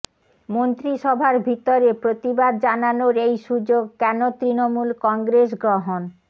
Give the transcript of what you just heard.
মন্ত্রিসভার ভিতরে প্রতিবাদ জানানোর এই সুযোগ কেন তৃণমূল কংগ্রেস গ্রহণ